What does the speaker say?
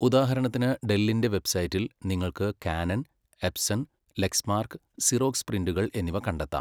ഉദാഹരണത്തിന്, ഡെല്ലിന്റെ വെബ്സൈറ്റിൽ നിങ്ങൾക്ക് കാനൺ, എപ്സൺ, ലെക്സ്മാർക്ക്, സിറോക്സ് പ്രിന്ററുകൾ എന്നിവ കണ്ടെത്താം.